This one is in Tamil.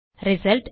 ரிசல்ட்